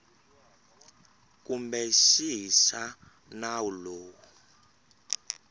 kumbe xihi xa nawu lowu